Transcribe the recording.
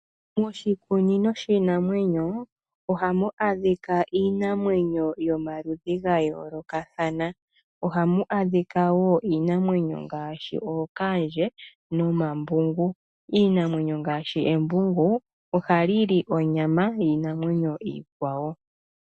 Moshikunino shiinamwenyo oha mu adhika Iinamwenyo yomaluludhi ga yoolokathana ohamu adhika wo iinamwenyo ngaashi ookaandje nomambungu. Iimamwenyo ngaashi embungu ohayi li onyama yiinamwenyo iikwawo.